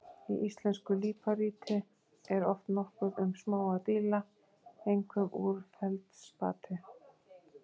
Í íslensku líparíti er oft nokkuð um smáa díla, einkum úr feldspati.